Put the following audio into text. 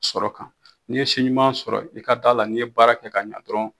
Sɔrɔ kan n'i ye si ɲuman sɔrɔ i ka d'a la n'i ye baara kɛ ka ɲa dɔrɔn